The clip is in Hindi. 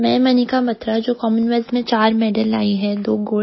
मैं मनिका बत्रा जो कॉमनवेल्थ में चार मेडल लायी हूँ